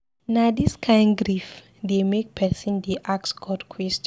Na dis kain grief dey make pesin dey ask God question.